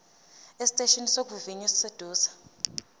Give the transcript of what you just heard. esiteshini sokuvivinya esiseduze